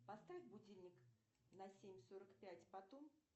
поставь будильник на семь сорок пять потом